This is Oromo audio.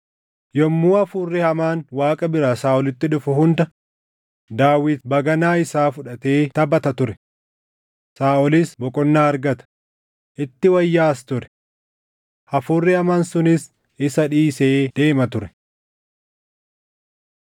Yommuu hafuurri hamaan Waaqa biraa Saaʼolitti dhufu hunda, Daawit baganaa isaa fudhatee taphata ture; Saaʼolis boqonnaa argata; itti wayyaaʼas ture. Hafuurri hamaan sunis isa dhiisee deema ture.